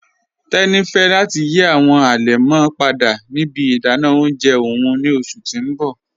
Teni fẹ̀ lati yí awọn alẹmọ́ padà ni ibi ìdànà ọ̀unjẹ ọ̀un ni ọṣù ti n bọ̀